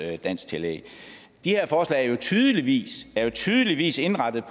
dansktillæg de her forslag er jo tydeligvis tydeligvis indrettet